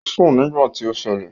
Ò ń sùn nígbà tí ó ṣẹlẹ̀